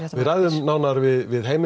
þið ræðið nánar við Heimi